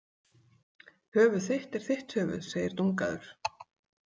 Höfuð þitt er þitt höfuð, segir Dungaður.